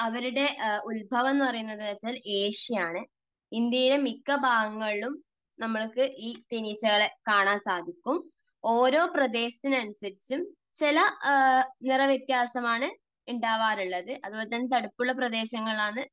അവരുടെ ഉത്ഭവം എന്നു പറയുന്നത് എന്ന് വെച്ചാൽ ഏഷ്യ ആണ്. ഇന്ത്യയിലെ മിക്ക ഭാഗങ്ങളിലും നമുക്ക് ഈ തേനീച്ചകളെ കാണാൻ സാധിക്കും. ഓരോ പ്രദേശത്തിന് അനുസരിച്ചും ചില നിറവ്യത്യാസം ആണ് ഉണ്ടാവാറുള്ളത്. അതുപോലെതന്നെ തണുപ്പുള്ള പ്രദേശങ്ങളിൽ ആണ്